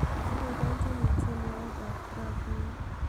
aboiboenjini tienwogik ab rap nia